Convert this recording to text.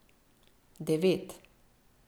Devet.